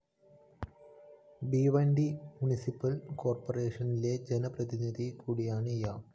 Bhiwandi municipal കോര്‍പ്പറേഷനിലെ ജന പ്രതിനിധി കൂടിയാണ് ഇയാള്‍